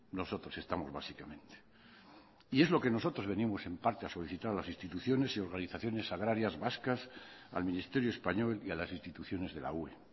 nosotros estamos básicamente y es lo que nosotros venimos en parte a solicitar a las instituciones y organizaciones agrarias vascas al ministerio español y a las instituciones de la ue